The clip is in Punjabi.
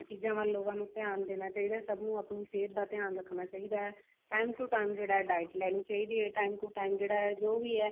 ਇਹਨਾਂ ਚੀਜ਼ਾਂ ਵੱਲ ਲੋਕਾਂ ਨੂੰ ਧਿਆਨ ਦੇਣ ਚਾਹੀਦਾ ਤੇ ਸਭ ਨੂੰ ਆਪਣੀ ਸਿਹਤ ਡ ਧਿਆਨ ਰੱਖਣਾ ਚਾਹੀਦਾ time to time ਜਿਹੜਾ ਹੈ diet ਲੈਣੀ ਚਾਹੀਦੀ ਹੈ time to time ਜਿਹੜਾ ਹੈ ਜੋ ਵੀ ਹੈ